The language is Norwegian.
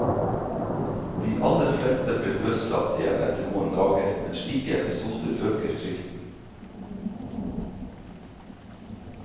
De aller fleste ble løslatt igjen etter noen dager, men slike episoder øker frykten.